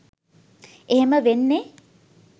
එහෙම වෙන්නෙ